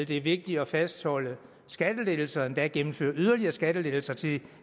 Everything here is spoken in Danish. det er vigtigere at fastholde skattelettelserne endda gennemføre yderligere skattelettelser til